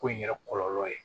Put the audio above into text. Ko in yɛrɛ kɔlɔlɔ ye